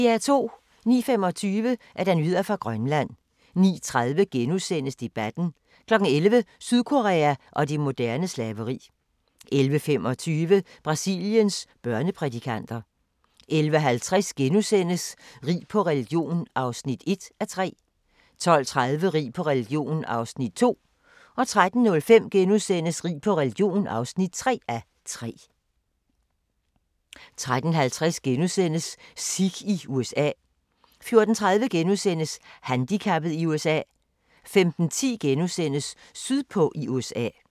09:25: Nyheder fra Grønland 09:30: Debatten * 11:00: Sydkorea og det moderne slaveri 11:25: Brasiliens børneprædikanter 11:50: Rig på religion (1:3)* 12:30: Rig på religion (2:3)* 13:05: Rig på religion (3:3)* 13:50: Sikh i USA * 14:30: Handicappet i USA * 15:10: Sydpå i USA *